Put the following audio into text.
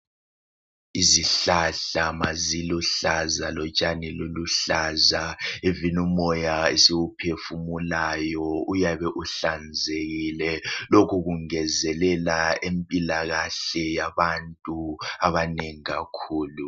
Izihlahla maziluhlaza lotshani luluhlaza even umoya esiwuphefumulayo uyabe uhlanzekile lokhu kungezelela impilakahle yabantu abanengi kakhulu